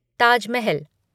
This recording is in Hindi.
ताज महल